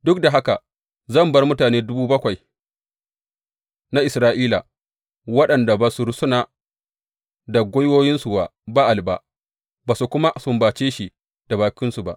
Duk da haka zan bar mutane dubu bakwai na Isra’ila waɗanda ba su rusuna da gwiwansu wa Ba’al ba, ba su kuma sumbace shi da bakinsu ba.